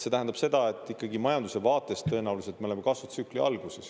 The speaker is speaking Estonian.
See tähendab seda, et majanduse vaates tõenäoliselt me oleme kasvutsükli alguses.